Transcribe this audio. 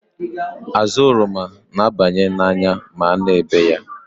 Azụ oroma n'aba n'anya ma a na-ebe ya.